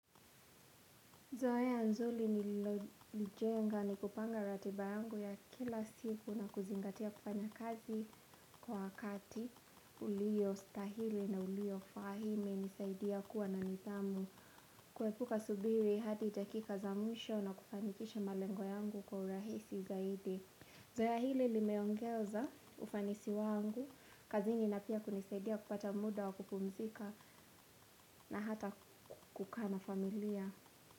Zoea nzuli nililojenga ni kupanga ratiba yangu ya kila siku na kuzingatia kufanya kazi kwa wakati. Iliyostahili na uliyofaa hii imenisaidia kuwa na nidhamu. Kuepuka subiri hadi dakika za mwisho na kufanikisha malengo yangu kwa urahisi zaidi. Zoea hili limeongeza ufanisi wangu. Kazini na pia kunisaidia kupata muda wa kupumzika na hata kukaa na familia.